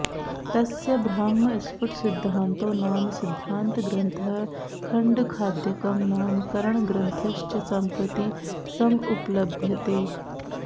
तस्य ब्राह्मस्फुटसिद्धान्तो नाम सिद्धान्तग्रन्थः खण्डखाद्यकं नाम करणग्रन्थश्च सम्प्रति समुपलभ्येते